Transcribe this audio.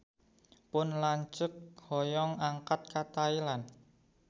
Pun lanceuk hoyong angkat ka Thailand